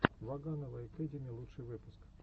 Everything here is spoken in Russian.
ваганова экэдими лучший выпуск